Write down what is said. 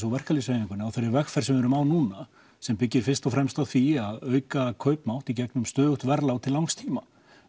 og verkalýðshreyfingunni á þeirri vegferð sem við erum á núna sem byggir fyrst og fremst á því að auka kaupmátt í gegnum stöðugt verðlag til langs tíma